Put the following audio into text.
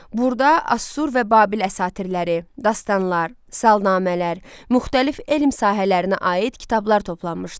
Burada Asur və Babil əsatirləri, dastanlar, salnamələr, müxtəlif elm sahələrinə aid kitablar toplanmışdı.